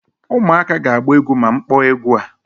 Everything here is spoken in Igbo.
ụmụaka ga-agba egwu ma m kpọọ egwu a